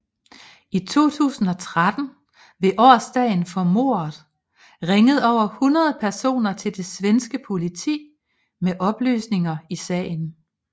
I 2013 ved årsdagen for mordet ringede over 100 personer til det svenske politi med oplysninger i sagen